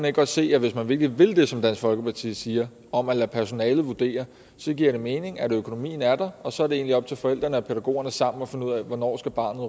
ikke godt se at hvis man virkelig vil det som dansk folkeparti siger om at lade personalet vurdere så giver det mening at økonomien er der og så er det egentlig op til forældrene og pædagogerne sammen at finde ud af hvornår